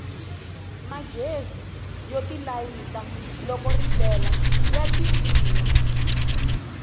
magezi yo tilayita loko ripela ya ti tima